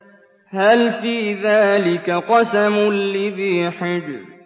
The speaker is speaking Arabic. هَلْ فِي ذَٰلِكَ قَسَمٌ لِّذِي حِجْرٍ